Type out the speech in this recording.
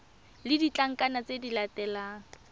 le ditlankana tse di latelang